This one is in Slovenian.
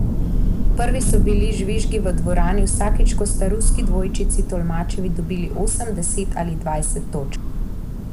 Prvi so bili žvižgi v dvorani, vsakič ko sta ruski dvojčici Tolmačevi dobili osem, deset ali dvanajst točk.